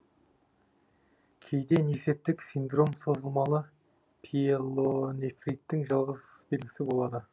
кейде несептік синдром созылмалы пиелонефриттің жалғыз белгісі болады